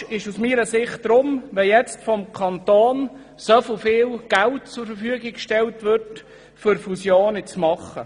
Deshalb ist es falsch, wenn der Kanton nun so viel Geld zur Verfügung stellt, um Fusionen zu machen.